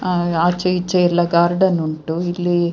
ಅಹ್ ಆಚೆ ಈಚೆ ಎಲ್ಲ ಗಾರ್ಡನ್ ಉಂಟು ಇಲ್ಲಿ-